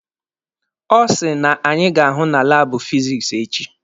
Ọ sị na anyị ga-ahụ na laabụ fizikisi echi.